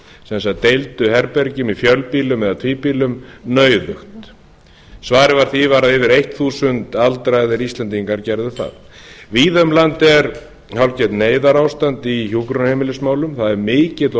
sem sagt deildu herbergjum í fjölbýlum eða tvíbýlum nauðug svarið við því var að yfir eitt þúsund aldraðir íslendingar gerðu það víða um land er hálfgert neyðarástand í hjúkrunarheimilismálum það er mikill og